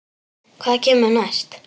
Hvað kemur næst?